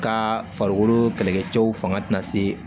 Ka farikolo kɛlɛkɛ cɛw fanga tɛna se